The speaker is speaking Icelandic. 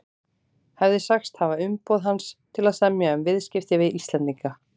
hefði sagst hafa umboð hans til að semja um viðskipti við Íslendinga.